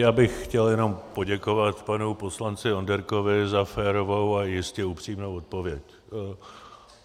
Já bych chtěl jenom poděkovat panu poslanci Onderkovi za férovou a jistě upřímnou odpověď.